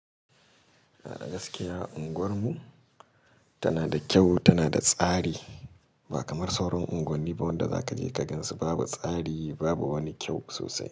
A da gaskiya unguwar mu tana da kyau, tana da tsari ba kamar sauran unguwanni ba wadda za ka je ka gan su babu tsari babu wani kyau sosai.